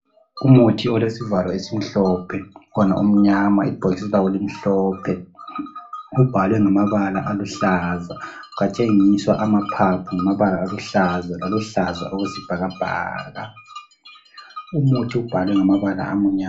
Umuthi olesivalo esimhlophe wona umnyama ibhokisi lawo limhlophe. Ubhalwe ngamabala aluhlaza kwatshengiswa amaphaphu ngamabala aluhlaza okwesibhakabhaka. Umuthi ubhalwe ngamabala amnyama.